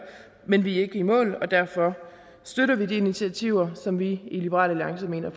men vi er ikke i mål derfor støtter vi de initiativer som vi i liberal alliance mener